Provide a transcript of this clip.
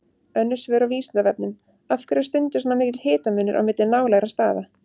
Önnur svör á Vísindavefnum: Af hverju er stundum svona mikill hitamunur á milli nálægra staða?